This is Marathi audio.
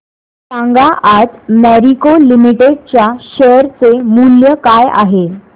सांगा आज मॅरिको लिमिटेड च्या शेअर चे मूल्य काय आहे